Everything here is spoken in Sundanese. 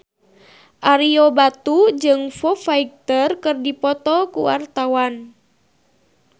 Ario Batu jeung Foo Fighter keur dipoto ku wartawan